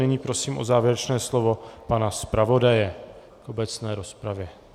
Nyní prosím o závěrečné slovo pana zpravodaje v obecné rozpravě.